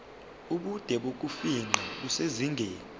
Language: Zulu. ubude bokufingqa kusezingeni